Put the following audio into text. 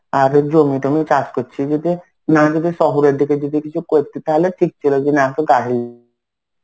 আর এই জমি টমি চাষ করছিস যদি না যদি শহরের দিকে যদি কিছু করতি তাহলে ঠিক ছিল যে না একটু গাড়ি